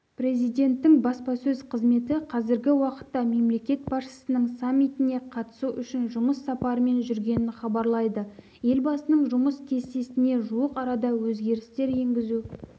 президенттің баспасөз қызметі қазіргі уақытта мемлекет басшысының саммитіне қатысу үшін жұмыс сапарымен жүргенін хабарлайды елбасының жұмыс кестесіне жуық арада өзгерістер енгізу